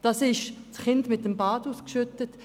Sonst würden wir das Kind mit dem Bade ausschütten.